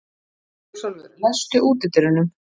Ljósálfur, læstu útidyrunum.